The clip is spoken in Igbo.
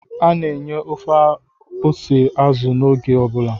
A na-enye ofe ose azụ n'oge ọ bụla